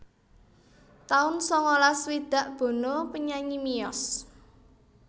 taun sangalas swidak Bono penyanyi miyos